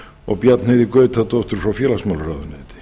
og bjarnheiði gautadóttur frá félagsmálaráðuneyti